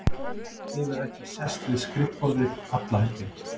Hefur ekki sest við skrifborðið alla helgina.